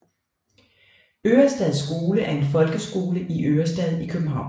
Ørestad Skole er en folkeskole i Ørestad i København